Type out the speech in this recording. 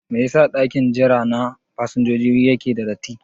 Mai ya sa ɗakin jira na fasinjojin yake da datti?